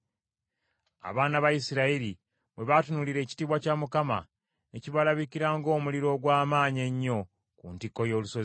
Abaana ba Isirayiri bwe baatunuulira ekitiibwa kya Mukama , ne kibalabikira ng’omuliro ogw’amaanyi ennyo ku ntikko y’olusozi.